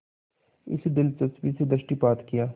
इस दिलचस्पी से दृष्टिपात किया